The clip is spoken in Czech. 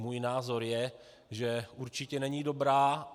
Můj názor je, že určitě není dobrá.